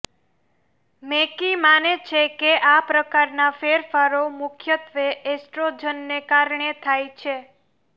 મેકી માને છે કે આ પ્રકારના ફેરફારો મુખ્યત્વે એસ્ટ્રોજનને કારણે થાય છે